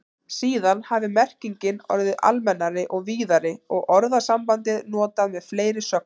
Síðan hafi merkingin orðið almennari og víðari og orðasambandið notað með fleiri sögnum.